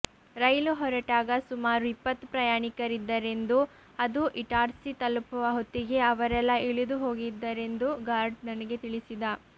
ರೈಲು ಹೊರಟಾಗ ಸುಮಾರು ಇಪ್ಪತ್ತು ಪ್ರಯಾಣಿಕರಿದ್ದರೆಂದೂ ಅದು ಇಟಾರ್ಸಿ ತಲುಪುವ ಹೊತ್ತಿಗೆ ಅವರೆಲ್ಲ ಇಳಿದುಹೋಗಿದ್ದರೆಂದೂ ಗಾರ್ಡ್ ನನಗೆ ತಿಳಿಸಿದ